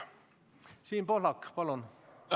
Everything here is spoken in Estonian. Siim Pohlak, palun!